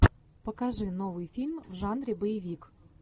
покажи новый фильм в жанре боевик